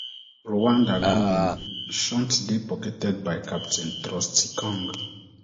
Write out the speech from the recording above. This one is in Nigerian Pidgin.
rwanda goal shut dey pocketed by captain trostikong